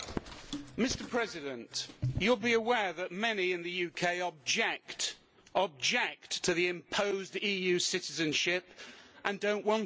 Mr President, you will be aware that many in the UK object object to the imposed EU citizenship and do not want it.